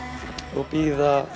og bíða